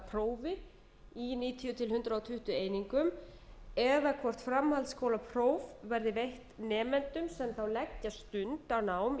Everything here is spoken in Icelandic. ljúka prófi í níutíu til hundrað tuttugu einingum eða hvort framhaldsskólapróf verði veitt nemendum sem þá leggja stund á nám